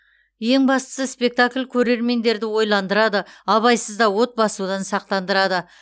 ең бастысы спектакль көрермендерді ойландырады абайсызда от басудан сақтандырады